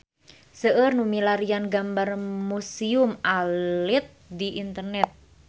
Seueur nu milarian gambar Museum Alit di internet